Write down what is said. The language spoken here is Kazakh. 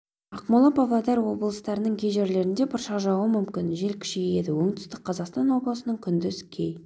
ақмола павлодар облыстарының кей жерлерінде бұршақ жаууы мүмкін жел күшейеді оңтүстік қазақстан облысының күндіз кей